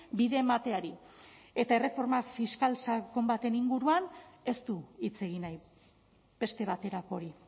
bide emateari eta erreforma fiskal sakon baten inguruan ez du hitz egin nahi beste baterako hori